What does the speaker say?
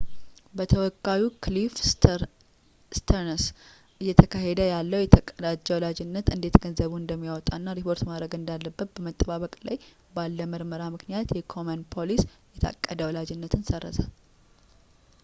በተወካዩ ክሊፍ ስተርንስ እየተካሄደ ያለውን የታቀደ ወላጅነት እንዴት ገንዘቡን እንደሚያወጣ እና ሪፖርት ማድረግ እንዳለበት በመጠባበቅ ላይ ባለ ምርመራ ምክንያት የኮሜን ፖሊሲ የታቀደ ወላጅነትን ሰረዘ